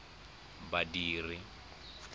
badiri